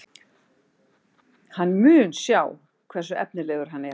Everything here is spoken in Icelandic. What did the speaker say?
Hann mun sjá hversu efnilegur hann er.